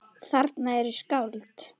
Þarna eru skáld.